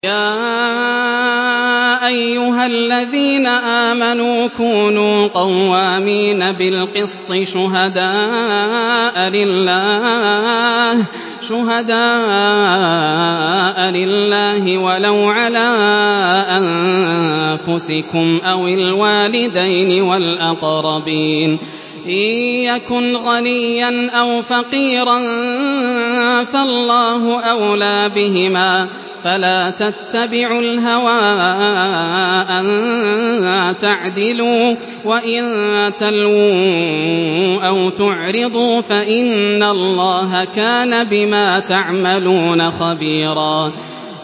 ۞ يَا أَيُّهَا الَّذِينَ آمَنُوا كُونُوا قَوَّامِينَ بِالْقِسْطِ شُهَدَاءَ لِلَّهِ وَلَوْ عَلَىٰ أَنفُسِكُمْ أَوِ الْوَالِدَيْنِ وَالْأَقْرَبِينَ ۚ إِن يَكُنْ غَنِيًّا أَوْ فَقِيرًا فَاللَّهُ أَوْلَىٰ بِهِمَا ۖ فَلَا تَتَّبِعُوا الْهَوَىٰ أَن تَعْدِلُوا ۚ وَإِن تَلْوُوا أَوْ تُعْرِضُوا فَإِنَّ اللَّهَ كَانَ بِمَا تَعْمَلُونَ خَبِيرًا